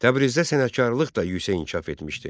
Təbrizdə sənətkarlıq da yüksək inkişaf etmişdi.